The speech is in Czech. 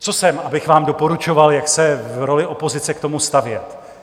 Co jsem, abych vám doporučoval, jak se v roli opozice k tomu stavět?